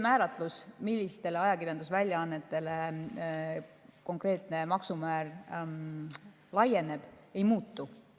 Määratlus, millistele ajakirjandusväljaannetele konkreetne maksumäär laieneb, ei muutu.